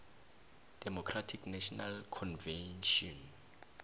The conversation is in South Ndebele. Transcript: democratic national convention